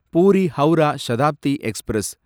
puri Howrah Shatabdi express